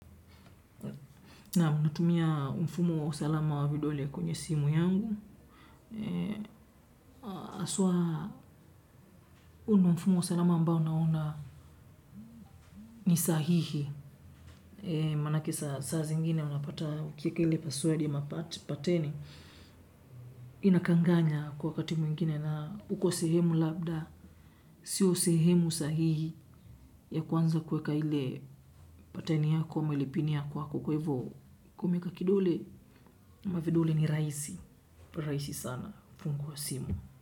Naam natumia mfumo wa usalama wa vidole kwenye simu yangu. Aswa hu ndo mfumo wa usalama ambao naona ni sahihi. Manake saa zingine unapata ukieke password ya mapateni. Inakanganya kwa wakati mwingine na uko sehemu labda. Sio sehemu sahihi ya kwanza kuweka ile pateni yako ama ile pin yako hapo kwa hivo. Umeaka kidole ama vidole ni rahisi rahisi sana fungua simu.